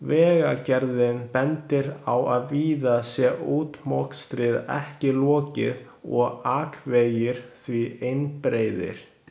Vegagerðin bendir á að víða sé útmokstri ekki lokið og akvegir því einbreiðir.